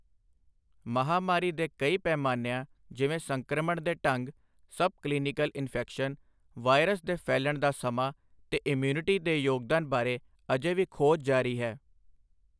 ਮਹਾਮਾਰੀ ਦੇ ਕਈ ਪੈਮਾਨਿਆਂ ਜਿਵੇਂ ਸੰਕ੍ਰਮਣ ਦੇ ਢੰਗ, ਸਬ ਕਲੀਨਿਕਲ ਇੰਨਫੈਕਸ਼ਨ, ਵਾਇਰਸ ਦੇ ਫੈਲ੍ਹਣ ਦਾ ਸਮਾਂ ਤੇ ਇਮਊਨਿਟੀ ਦੇ ਯੋਗਦਾਨ ਬਾਰੇ ਅਜੇ ਵੀ ਖੋਜ ਜਾਰੀ ਹੈ।